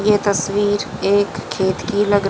ये तस्वीर एक खेत की लग--